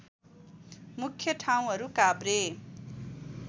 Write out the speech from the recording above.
मुख्य ठाउँहरू काभ्रे